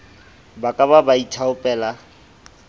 ba ke ba ba ithaopela